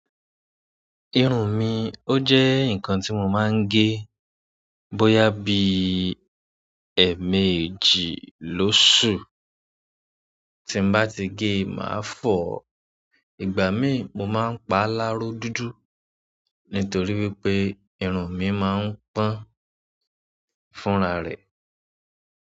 Irun mi ó jẹ́ nǹkan tí mo máa ń gé bóyá bí ẹ̀ẹ̀mẹjì lósù. Tí n bá ti gé, màá fọ̀ ọ́. Ìgbà míì mo máa ń pa láro dúdú nítorí wípé irun mi máa ń pọ́n fúnra rẹ̀.